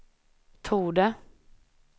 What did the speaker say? torde